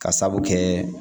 Ka sabu kɛ